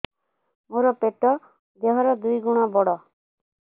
ମୋର ପେଟ ଦେହ ର ଦୁଇ ଗୁଣ ବଡ